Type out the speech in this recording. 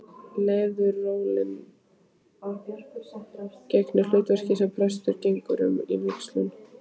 Leðurólin gegnir hlutverkinu sem presturinn getur um við vígsluna.